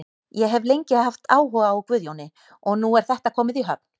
Ég hef lengi haft áhuga á Guðjóni og nú er þetta komið í höfn.